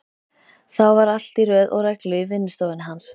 Þá var allt í röð og reglu í vinnustofunni hans.